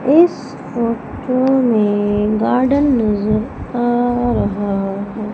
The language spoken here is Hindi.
इस फोटो में गार्डन नजर आ रहा है।